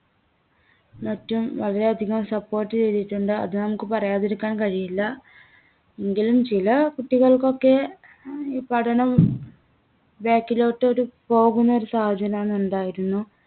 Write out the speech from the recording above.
മറ്റും വളരെ അധികം support ചെയ്‌തിട്ടുണ്ട്‌. അത് നമ്മക്ക് പറയാതിരിക്കാൻ കഴിയില്ല. എങ്കിലും ചില കുട്ടികൾക്കൊക്കെ ഈ പഠനം back ലോട്ട് ഒരു പോകുന്ന ഒരു സാഹചര്യാണ് ഉണ്ടായിരുന്നു.